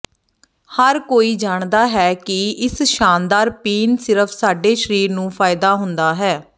ਹਰ ਕੋਈ ਜਾਣਦਾ ਹੈ ਕਿ ਇਸ ਸ਼ਾਨਦਾਰ ਪੀਣ ਸਿਰਫ ਸਾਡੇ ਸਰੀਰ ਨੂੰ ਫ਼ਾਇਦਾ ਹੁੰਦਾ ਹੈ